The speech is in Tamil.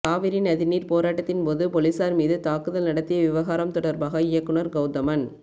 காவிரி நதிநீர் போராட்டத்தின் போது பொலிஸார் மீது தாக்குதல் நடத்திய விவகாரம் தொடர்பாக இயக்குநர் கௌதமன்